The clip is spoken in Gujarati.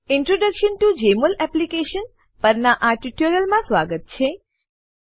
introduction to Jmol application Jmol એપ્લીકેશનનાં પરિચય પરનાં આ ટ્યુટોરીયલમાં સ્વાગત છે